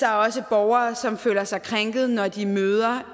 er også borgere som føler sig krænket når de møder